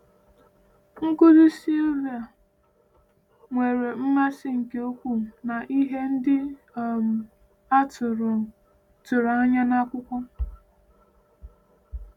Nkuzi Silvia nwere mmasị nke ukwuu na ihe ndị um a tụrụ tụrụ anya n’akwụkwọ.